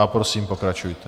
A prosím, pokračujte.